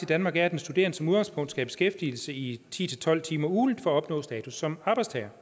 danmark er at den studerende som udgangspunkt skal have beskæftigelse i ti til tolv timer ugentligt for at opnå status som arbejdstager